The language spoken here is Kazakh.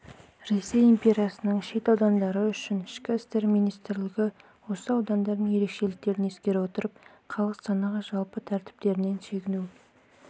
ресей империясының шет аудандары үшін ішкі істер министрлігі осы аудандардың ерекшеліктерін ескере отырып халық санағы жалпы тәртіптерінен шегіну